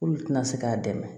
Olu tɛna se k'a dɛmɛ